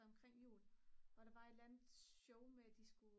noget omkring jul hvor der var et eller andet show med at de skulle